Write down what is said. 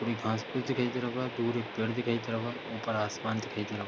थोड़ी घास-फुस दिखाई दे रहा होगा दूर एक पेड़ दिखाई दे रहा होगा ऊपर आसमान दिखाई दे रहा --